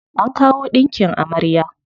An kawo ɗinkin amarya.